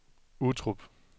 Uttrup